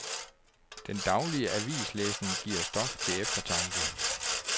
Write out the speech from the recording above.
Den daglige avislæsning giver stof til eftertanke.